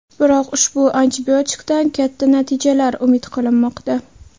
Biroq ushbu antibiotikdan katta natijalar umid qilinmoqda.